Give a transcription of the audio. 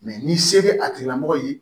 Mɛ n'i se bɛ a tigilamɔgɔ ye